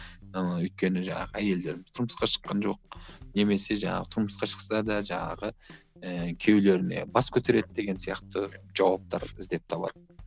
ыыы өйткені жаңағы әйелдер тұрмысқа шыққан жоқ немесе жаңағы тұрмысқа шықса да жаңағы ііі күйеулеріне бас көтереді деген сияқты жауаптар іздеп табады